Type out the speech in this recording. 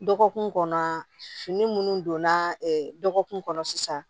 Dɔgɔkun kɔnɔ fini munnu donna ɛ dɔgɔkun kɔnɔ sisan